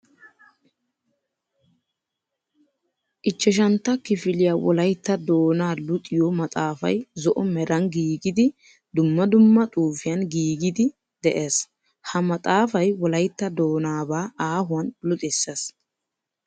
5tta kifiliya wolaytta doona luxiyo maxafay zo'o meran giiggiddi dumma dumma xuufiyan giigiddi de'ees. Ha maxafay wolaytta doonaba aahuwan luxissees.